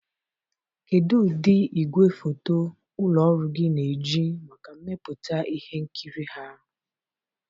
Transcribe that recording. Kedu ụdị igwefoto ụlọ ọrụ gị na-eji maka mmepụta ihe nkiri ha?